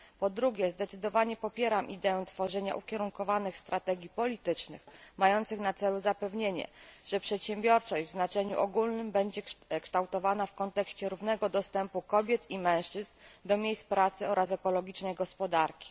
Po drugie zdecydowanie popieram ideę tworzenia ukierunkowanych strategii politycznych mających na celu zapewnienie kształtowania przedsiębiorczości w znaczeniu ogólnym w kontekście równego dostępu kobiet i mężczyzn do miejsc pracy oraz ekologicznej gospodarki.